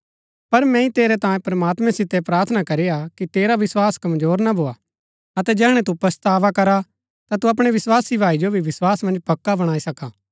पर मैंई तेरै तांयें प्रमात्मैं सितै प्रार्थना करीआ कि तेरा विस्वास कमजोर ना भोआ अतै जैहणै तु पच्छतावा करा ता तु अपणै विस्वासी भाई जो भी विस्वास मन्ज पक्का बणाई सका